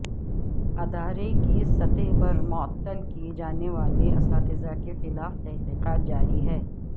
ادارے کی سطح پر معطل کیے جانے والے اساتذہ کے خلاف تحقیقات جاری ہیں